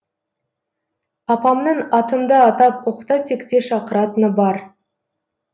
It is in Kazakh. апамның атымды атап оқта текте шақыратыны бар